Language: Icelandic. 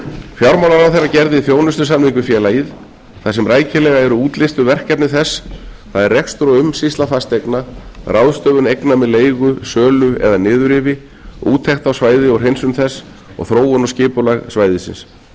fjármálaráðherra gerði þjónustusamning við félagið þar sem rækilega eru útlistuð verkefni þess það er rekstur og umsýsla fasteigna ráðstöfun eigna með leigu sölu eða niðurrifi úttekt á svæði og hreinsun þess og þróun og skipulag svæðisins